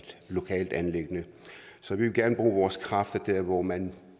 lokalt anliggende så vi vil gerne bruge vores kræfter der hvor man